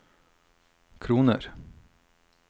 kroner